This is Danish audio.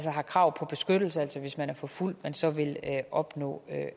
har krav på beskyttelse altså hvis man er forfulgt at man så vil opnå